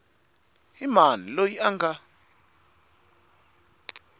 i mani loyi a nga